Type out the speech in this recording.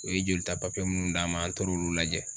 U ye jolita papiye muinnu d'an ma an taara olu lajɛ.